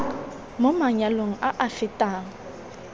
mo manyalong a a fetang